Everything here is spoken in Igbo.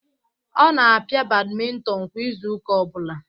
Ọ na-pia badminton kwa izu ụka ọ bụla